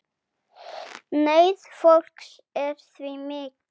Neyð fólks er því mikil.